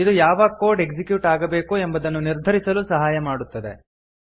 ಇದು ಯಾವ code execute ಆಗಬೇಕು ಎಂಬುದನ್ನು ನಿರ್ಧರಿಸಲು ಸಹಾಯ ಮಾಡುತ್ತದೆ